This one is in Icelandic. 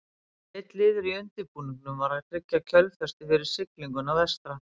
Einn liður í undirbúningnum var að tryggja kjölfestu fyrir siglinguna vestra.